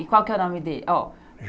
E qual que é o nome dele? Ó.